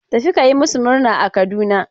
Tafi ka yi masu murna a Kaduna!.